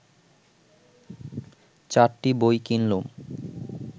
চারটি বই কিনলুম